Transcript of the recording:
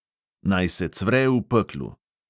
Naj se cvre v peklu!